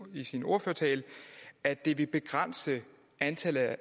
i sin ordførertale at det vil begrænse antallet af